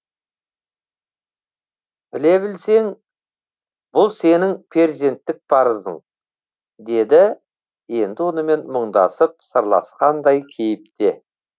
біле білсең бұл сенің перзенттік парызың деді енді онымен мұңдасып сырласқандай кейіпте